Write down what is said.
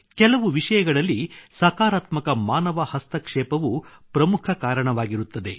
ಕೆಲವು ವಿಷಯಗಳಲ್ಲಿ ಸಕಾರಾತ್ಮಕ ಮಾನವ ಹಸ್ತಕ್ಷೇಪವೂ ಪ್ರಮುಖ ಕಾರಣವಾಗಿರುತ್ತದೆ